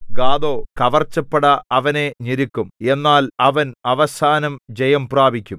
ഗാദോ കവർച്ചപ്പട അവനെ ഞെരുക്കും എന്നാൽ അവൻ അവസാനം ജയംപ്രാപിക്കും